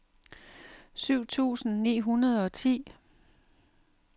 syv tusind ni hundrede og ti